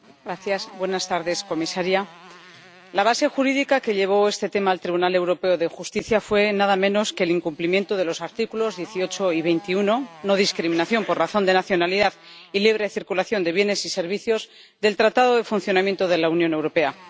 Señora presidenta, comisaria, la base jurídica que llevó este tema al Tribunal Europeo de Justicia fue nada menos que el incumplimiento de los artículos 18 y 21 no discriminación por razón de nacionalidad y libre circulación de bienes y servicios del Tratado de Funcionamiento de la Unión Europea.